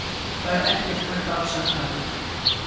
Það er ekkert hægt að afsaka þetta.